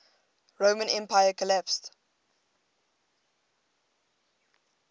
roman empire collapsed